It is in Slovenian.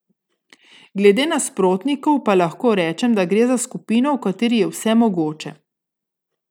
Glede nasprotnikov pa lahko rečem, da gre za skupino, v kateri je vse mogoče.